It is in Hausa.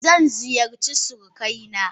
Zan ziyarci surukaina.